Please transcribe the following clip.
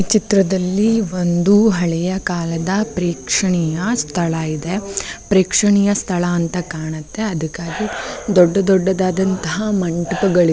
ಚಿತ್ರದಲ್ಲಿ ಒಂದು ಹಳೆಯ ಕಾಲದ ಪ್ರೇಕ್ಷಣೀಯ ಸ್ಥಳ ಇದೆ ಪ್ರೇಕ್ಷಣೀಯ ಸ್ಥಳ ಅಂತ ಕಾಣುತ್ತೆ ಅದಕ್ಕಾಗಿ ದೊಡ್ಡ ದೊಡ್ಡದು ಅಂತ .